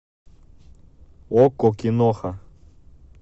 окко киноха